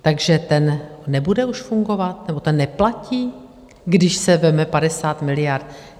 Takže ten nebude už fungovat nebo ten neplatí, když se vezme 50 miliard?